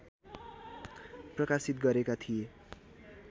प्रकाशित गरेका थिए